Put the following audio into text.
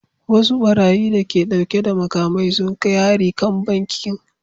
Wasu barayi da ke dauke da makamai sun kai hari kan banki